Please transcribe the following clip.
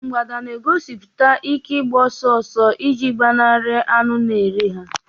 mgbada na-egosipụta ike ịgba ọsọ ọsọ ọsọ iji gbanarị anụ na eri ha.